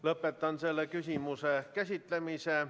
Lõpetan selle küsimuse käsitlemise.